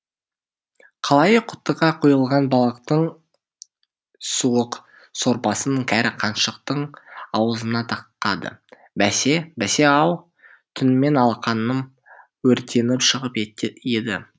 қалайы құтыға құйылған балықтың суық сорпасын кәрі қаншықтың аузына тақады бәсе бәсе ау түнімен алақаным өртеніп шығып еді